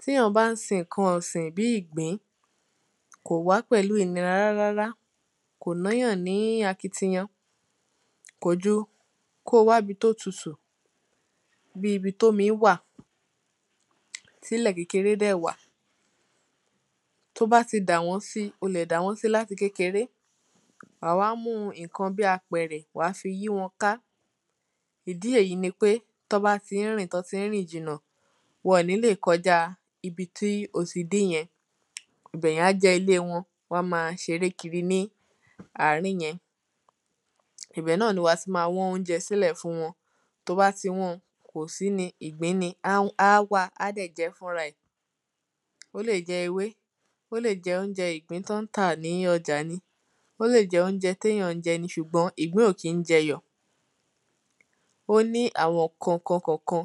Tí èyàn bá ń sin nǹkan ọ̀sìn bíi ìgbín kò wá pẹ̀lú ìnira rárárárá kò ná èyàn ní akitiyan Tí èyàn bá ń sin nǹkan ọ̀sìn bíi ìgbín kò wá pẹ̀lú ìnira rárárárá kò ná èyàn ní akitiyan Kò ju kí o wá ibi tí ó tutù bíi ibi tí omi wà tí ilẹ̀ kékeré dẹ̀ wà Tí o bá ti dà wọ́n si o lè dà wọ́n si láti kékeré wá wa mú nǹkan bíi apẹ̀rẹ̀ wa á fi yí wọn ká Ìdí èyí nipé tí wọ́n bá ti ń rìn tí wọ́n ti ń rìn jìnà wọn ò ní lè kọjá ibi tí ó ti dé yẹn Ibẹ̀ yẹn á jẹ́ ilé wọn wọ́n á máa ṣeré kiri ní àárín yẹn Ibẹ̀ náà ni wà á ti máa wán óunjẹ sílẹ̀ fún wọn tí o bá tí o bá ti wan kò sí ni ìgbín ni á wá á dẹ̀ jẹ́ fúnra ẹ̀ Ó lè jẹ́ ewé ó lè jẹ́ óúnjẹ ìgbín tí wọ́n ń tà ní ọjà ni ó lè jẹ́ óunjẹ tí èyàn ń jẹ ṣùgbọ́n ìgbín ò kí ń jẹ iyọ̀ Ó ní àwọn nǹkankan kọ̀ọ̀kan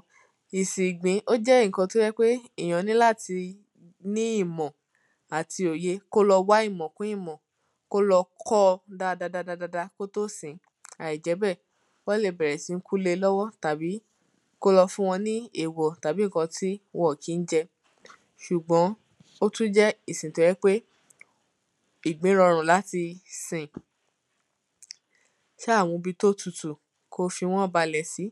Ìsìn ìgbín ó jẹ́ nǹkan tí ó jẹ́ ń pé èyàn níláti ní ìmọ̀ àti òye kí ó lọ wá ìmọ̀ kún ìmọ̀ kí ó lọ kọ́ ọ dádádádá kí ó tó sìn Àìjẹ́bẹ́ẹ̀ wọ́n lè bèrè sí ń kú le lọ́wọ́ tàbí kí ó lọ fún wọn ní èwọ̀ tàbí nǹkan tí wọn ò kí ń jẹ Ṣùgbọ́n ó tún jẹ́ ìsìn tí ó jẹ́ ń pé ìgbín rọrùn láti sìn Sá mú ibi tí ó tutù kí ó fi wọ́n balẹ̀ sí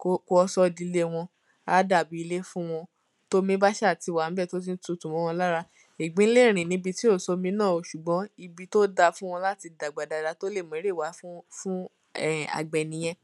kí o sọ ọ́ di ilé wọn a á dàbí ilé fún wọn tí omi bá sáà ti wà níbẹ̀ tí ó ti tutù mọ́ wọn lára Ìgbín lè rìn ní ibi tí ò sí omi náà o ṣùgbón ibi ó da fún wọn láti dàgbà dáadáa tí ó lè mú èrè wá fún àgbẹ̀ nìyẹn